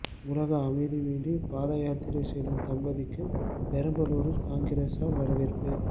உலக அமைதி வேண்டி பாதயாத்திரை செல்லும் தம்பதிக்கு பெரம்பலூரில் காங்கிரசார் வரவேற்பு